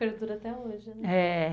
Perdura até hoje, né? É